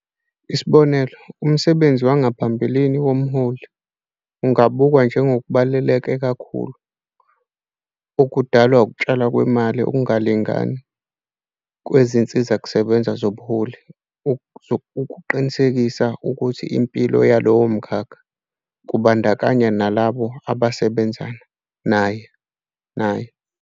Isibonelo, umsebenzi wangaphambilini womholi, ungabukwa njengobaluleke kakhulu, okudala ukutshalwa kwemali okungalingani kwezinsizakusebenza zobuholi ukuqinisekisa ukukhula nempilo yalowo mkhakha, kubandakanya nalabo ababesebenza naye.